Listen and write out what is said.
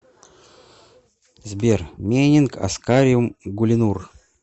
сбер менинг аскариум гулинур